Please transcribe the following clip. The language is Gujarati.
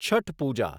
છઠ પૂજા